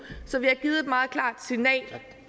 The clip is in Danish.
så vi har givet et meget klart signal